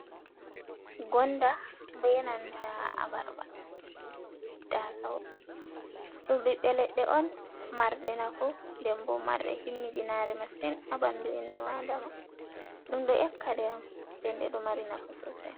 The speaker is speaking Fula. Gonda benanta abarbar, Tasawo ɗum ɓiɓɓe leɗɗe on marɗe nafu ndenbo marɗe himmidinare masin ha ɓandu innu Aadama, ɗum ɗo ƴakkaɗe on ndende ɗo mari nafu sosai.